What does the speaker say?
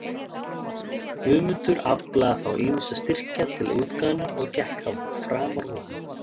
Guðmundur aflaði þá ýmissa styrkja til útgáfunnar, og gekk það framar vonum.